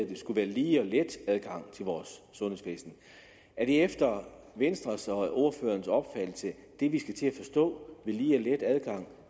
det skulle være lige og let adgang til vores sundhedsvæsen er det efter venstres og ordførerens opfattelse det vi skal til at forstå ved lige og let adgang